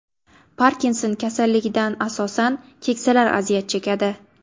Parkinson kasalligidan asosan keksalar aziyat chekadi.